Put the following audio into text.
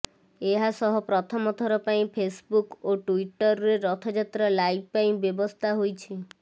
ଏହା ସହ ପ୍ରଥମ ଥର ପାଇଁ ଫେସବୁକ୍ ଓ ଟ୍ୱିଟରରେ ରଥଯାତ୍ରା ଲାଇଭ୍ ପାଇଁ ବ୍ୟବସ୍ଥା ହୋଇଛି